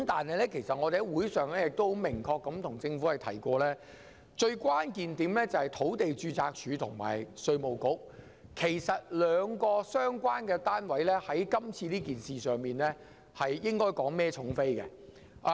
我們在會議上已明確向政府提出，關鍵在於土地註冊處及稅務局，這兩個相關單位在這件事上承擔較大責任。